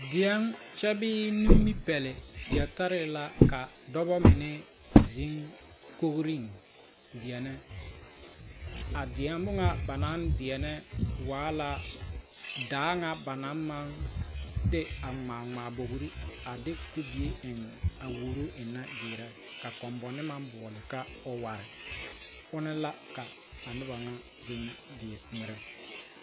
Deɛŋ bee nimipɛle yeli tare la ka dɔbɔmine zeŋ kogriŋ a deɛnɛ a deɛne ŋa ba naŋ deɛnɛ waa la daa ŋa banaŋ de a ŋmaa bogri a de kubie eŋ a,woɔrɔ ennɛ ka kombone maŋ boɔle ka oware ona la ka a noba ŋa ŋmeɛrɛ.